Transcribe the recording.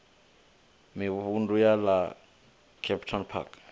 mivhundu ya ḽa kempton park